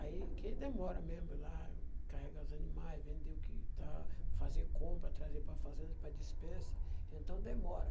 Aí que aí demora mesmo lá, carregar os animais, vende o que está, fazer compra, trazer para a fazenda, para a despensa, então demora.